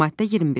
Maddə 21.